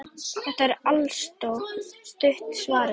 Þetta er altso stutta svarið.